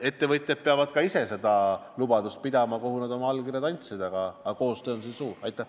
Ettevõtjad peavad ka ise täitma seda lubadust, millele nad oma allkirjad andsid, aga koostöö on siin oluline.